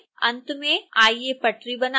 अंत में आइए पटरी बनाते हैं